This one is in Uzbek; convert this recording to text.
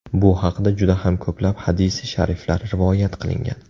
Bu haqida juda ham ko‘plab hadisi shariflar rivoyat qilingan.